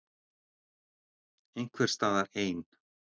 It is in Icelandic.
Einhvers staðar ein.